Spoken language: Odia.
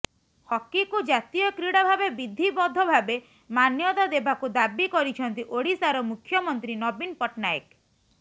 ହକିକୁ ଜାତୀୟ କ୍ରୀଡା ଭାବେ ବିଧିବଦ୍ଧ ଭାବେ ମାନ୍ୟତା ଦେବାକୁ ଦାବି କରିଛନ୍ତି ଓଡ଼ିଶାର ମୁଖ୍ୟମନ୍ତ୍ରୀ ନବୀନ ପଟ୍ଟନାୟକ